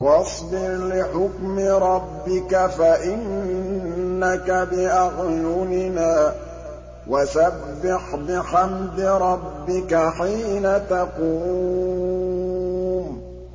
وَاصْبِرْ لِحُكْمِ رَبِّكَ فَإِنَّكَ بِأَعْيُنِنَا ۖ وَسَبِّحْ بِحَمْدِ رَبِّكَ حِينَ تَقُومُ